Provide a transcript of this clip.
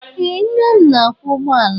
Ee nna m na-akwọ ụgbọala.